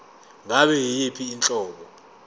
ngabe yiyiphi inhlobo